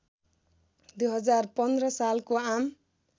२०१५ सालको आम